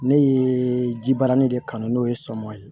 Ne ye jibarani de kan n'o ye sɔmin ye